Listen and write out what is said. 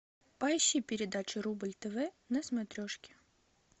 поищи передачу рубль тв на смотрешке